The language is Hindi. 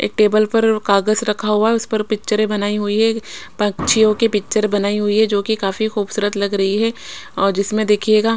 एक टेबल पर कगज रखा हुआ है उस पर पिचरे बनाई हुई है पंछियों के पिचर बनाई हुई है जो की काफी खुबसूरत लग रही है और जिसमे देखिएगा--